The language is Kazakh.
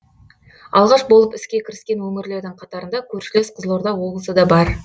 алғаш болып іске кіріскен өңірлердің қатарында көршілес қызылорда облысы да бар